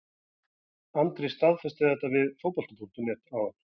Andri staðfesti þetta við Fótbolta.net áðan.